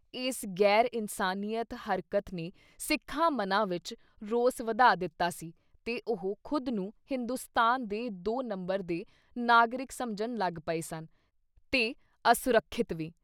ਇਸ ਗੈਰ ਇਨਸਾਨੀਅਤ ਹਰਕਤ ਨੇ ਸਿੱਖਾਂ ਮਨਾਂ ਵਿੱਚ ਰੋਸ ਵਧਾ ਦਿੱਤਾ ਸੀ ਤੇ ਉਹ ਖੁਦ ਨੂੰ ਹਿੰਦੁਸਤਾਨ ਦੇ ਦੋ ਨੰਬਰ ਦੇ ਨਾਗਰਿਕ ਸਮਝਣ ਲੱਗ ਪਏ ਸਨ ਤੇ ਅਸੁਰਖਿਅਤ ਵੀ।